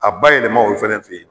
A ba yɛlɛma o fɛnɛ fe yen